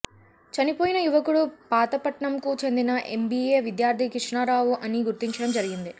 చనిపోయిన యువకుడు పాతపట్నంకు చెందిన ఎంబిఎ విద్యార్తి కృష్ణారావు అని గుర్తించడం జరిగింది